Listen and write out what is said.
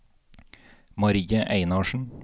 Marie Einarsen